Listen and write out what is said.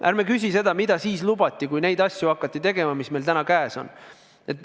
Ärme küsime, mida lubati siis, kui hakati tegema asju, mis meil täna käes on.